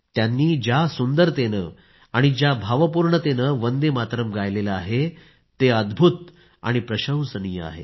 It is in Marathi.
त्यांनी ज्या सुंदरतेने आणि भावनेने वंदे मातरम् गायलं आहे ते अद्भुत आणि प्रशंसनीय आहे